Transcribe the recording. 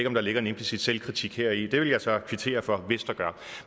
om der ligger en implicit selvkritik heri det vil jeg så kvittere for hvis der gør